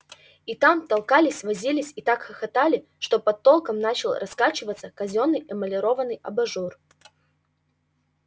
и там толкались возились и так хохотали что под толком начал раскачиваться казённый эмалированный абажур